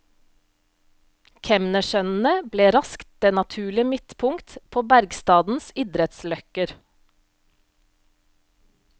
Kemnersønnene ble raskt det naturlige midtpunkt på bergstadens idrettsløkker.